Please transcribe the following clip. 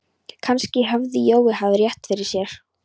Kannski hafði Jói haft rétt fyrir sér.